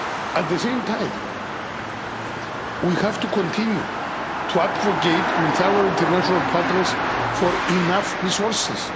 At the same time, we have to continue to advocate with our international partners for enough resources.